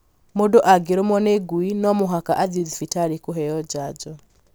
Mũndũ angĩrũmwo nĩ ngui no mũhaka athiĩ thibitarĩ kũheo janjo